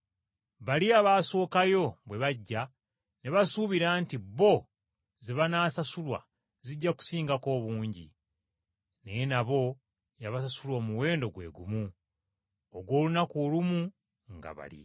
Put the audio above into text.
Bali abaasookayo bwe bajja ne basuubira nti bo ze banaasasulwa zijja kusingako obungi. Naye nabo yabasasula omuwendo gwe gumu ogw’olunaku olumu nga bali.